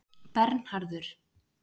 Bernharður